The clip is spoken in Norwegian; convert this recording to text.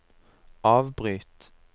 avbryt